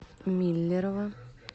миллерово